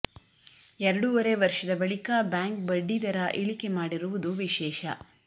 ಎರಡೂವರೆ ವರ್ಷದ ಬಳಿಕ ಬ್ಯಾಂಕ್ ಬಡ್ಡಿ ದರ ಇಳಿಕೆ ಮಾಡಿರುವುದು ವಿಶೇಷ